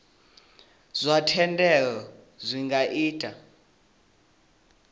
zwa thendelo zwi nga ita